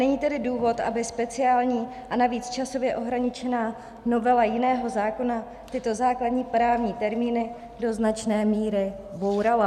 Není tedy důvod, aby speciální a navíc časově ohraničená novela jiného zákona tyto základní právní termíny do značné míry bourala.